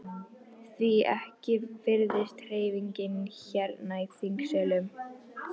Því ekki virðist hreyfingin hérna í þingsölum?